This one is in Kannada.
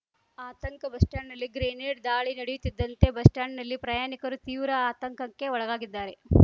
ಆತಂಕ ಬಸ್ ಸ್ಟಾಂಡ್‌ನಲ್ಲಿ ಗ್ರೆನೇಡ್ ದಾಳಿ ನಡೆಯುತ್ತಿದ್ದಂತೆ ಬಸ್ ಸ್ಟಾಂಡ್‌ನಲ್ಲಿ ಪ್ರಯಾಣಿಕರು ತೀವ್ರ ಆತಂಕಕ್ಕೆ ಒಳಗಾಗಿದ್ದಾರೆ